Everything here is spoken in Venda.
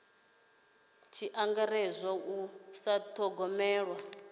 tshi angaredzwa u sa dithogomela